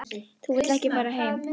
Þú vilt þá ekki fara heim?